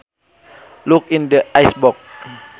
Look in the icebox